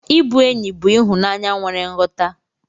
Ịbụ enyi bụ ịhụnanya nwere nghọta.